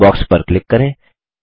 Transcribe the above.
inbox पर click करें